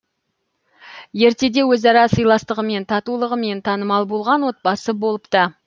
ертеде өзара сыйластығымен татулығымен танымал болған отбасы болыпты